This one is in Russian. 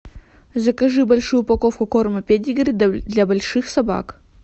закажи большую упаковку корма педигри для больших собак